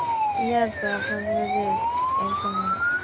year টা আপনাদেরও যে exam